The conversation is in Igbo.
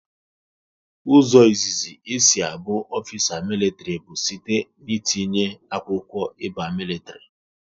Ụzọ izizi e si abụ ofisa militri bụ site n'etinye akwụkwọ ị ba militri